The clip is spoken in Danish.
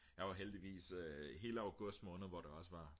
jeg var heldigvis hele augustmåned hvor det også var